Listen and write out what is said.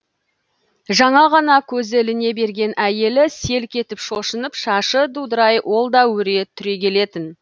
жаңа ғана көзі іліне берген әйелі селк етіп шошынып шашы дудырай ол да өре түрегелетін